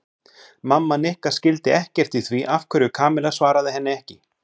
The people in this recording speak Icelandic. Mamma Nikka skildi ekkert í því af hverju Kamilla svaraði henni ekki.